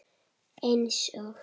Eins og?